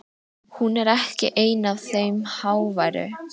Hún er ekki ein af þeim háværu.